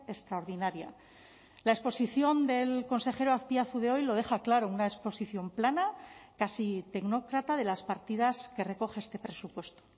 extraordinaria la exposición del consejero azpiazu de hoy lo deja claro una exposición plana casi tecnócrata de las partidas que recoge este presupuesto